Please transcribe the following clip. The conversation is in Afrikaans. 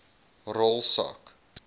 rol sak